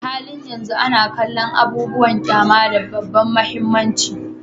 A halin yanzu ana kallon abubuwan ƙyama da babban mahimmanci